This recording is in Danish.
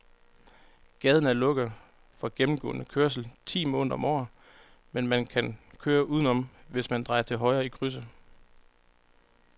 Gaden er lukket for gennemgående færdsel ti måneder om året, men man kan køre udenom, hvis man drejer til højre i krydset.